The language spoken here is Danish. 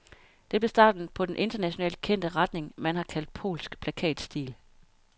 Det blev starten på den internationalt kendte retning, man har kaldt polsk plakatstil.